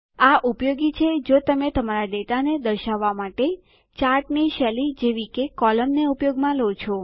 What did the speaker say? આ ઉપયોગી છે જો તમે તમારા ડેટાને દર્શાવવા માટે ચાર્ટની શૈલી જેવી કે કોલમ્ન ને ઉપયોગમાં લો છો